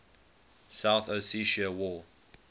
south ossetia war